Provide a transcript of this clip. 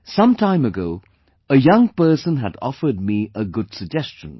Some time ago a young person had offered me a good suggestion